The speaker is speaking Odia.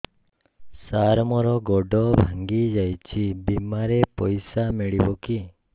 ସାର ମର ଗୋଡ ଭଙ୍ଗି ଯାଇ ଛି ବିମାରେ ପଇସା ମିଳିବ କି